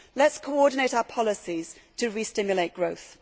Let us coordinate our policies to re stimulate growth.